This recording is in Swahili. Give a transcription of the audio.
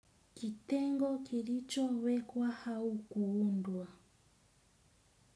Kitengo kilicho wekwa hauku undwa.